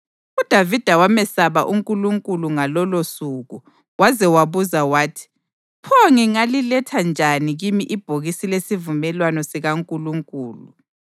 UDavida wamesaba uNkulunkulu ngalolosuku waze wabuza wathi: “Pho ngingaliletha njani kimi ibhokisi lesivumelwano sikaNkulunkulu?”